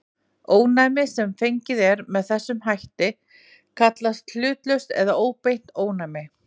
Ónæmi sem fengið er með þessum hætt kallast hlutlaust eða óbeint ónæmi.